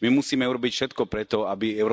My musíme urobiť všetko pre to, aby EÚ